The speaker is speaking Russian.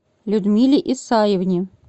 людмиле исаевне